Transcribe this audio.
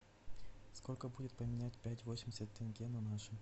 сколько будет поменять пять восемьдесят тенге на наши